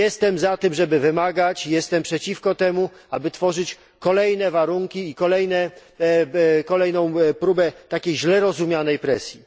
Jestem za tym, żeby wymagać jestem przeciwko temu, aby tworzyć kolejne warunki i kolejną próbę takiej źle rozumianej presji.